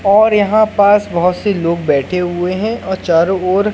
और यहां पास बहोत से लोग बैठे हुए हैं और चारों ओर--